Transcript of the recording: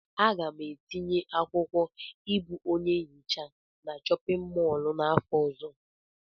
Aga m etinye akwụkwọ ịbụ onye nhicha na chọpịn mọọlụ n'afọ ọzọ.